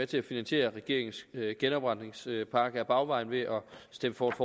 til at finansiere regeringens genopretningspakke ad bagvejen ved at stemme for et